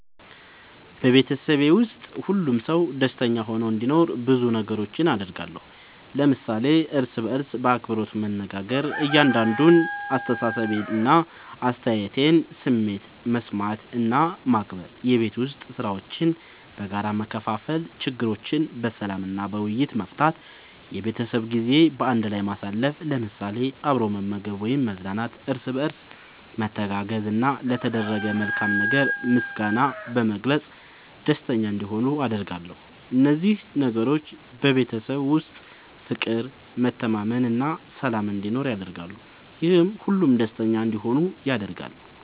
በቤተሰቤ ውስጥ ሁሉም ሰው ደስተኛ ሆኖ እንዲኖር ብዙ ነገሮችን አደርጋለሁ።። ለምሳሌ፦ እርስ በርስ በአክብሮት መነጋገር። የእያንዳንዱን አስተያየትና ስሜት መስማት እና ማክበር፣ የቤት ዉስጥ ሥራዎችን በጋራ መከፋፈል፣ ችግሮችን በሰላም እና በውይይት መፍታት፣ የቤተሰብ ጊዜ በአንድ ላይ ማሳለፍ ለምሳሌ፦ አብሮ መመገብ ወይም መዝናናት፣ እርስ በርስ መተጋገዝ፣ እና ለተደረገ መልካም ነገር ምስጋና በመግለጽ ደስተኛ እንዲሆኑ አደርጋለሁ። እነዚህ ነገሮች በቤተሰብ ውስጥ ፍቅር፣ መተማመን እና ሰላም እንዲኖር ያደርጋሉ፤ ይህም ሁሉም ደስተኛ እንዲሆኑ ያደርጋል።